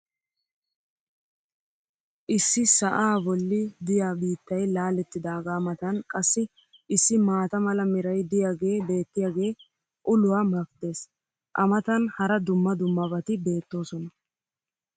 issi sa"aa bolli diyaa biittay laalettidaagaa matan qassi issi maata mala meray diyaagee beettiyaagee uluwa mafdees. a matan hara dumma dummabati beettoosona.